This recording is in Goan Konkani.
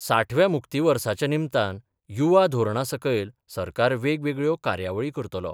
साठव्या मुक्तीवर्साच्या नीमतान युवा धोरणासकयल सरकार वेगवेगळ्यो कार्यावळी करतलो.